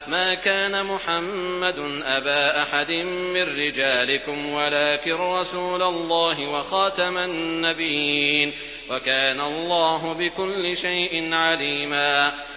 مَّا كَانَ مُحَمَّدٌ أَبَا أَحَدٍ مِّن رِّجَالِكُمْ وَلَٰكِن رَّسُولَ اللَّهِ وَخَاتَمَ النَّبِيِّينَ ۗ وَكَانَ اللَّهُ بِكُلِّ شَيْءٍ عَلِيمًا